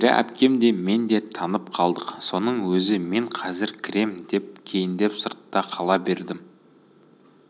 нәзира әпкем де мен де танып қалдық соның өзі мен қазір кірем деп кейіндеп сыртта қала бердім